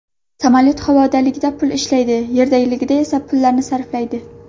Samolyot havodaligida pul ishlaydi, yerdaligida esa bu pullarni sarflaydi.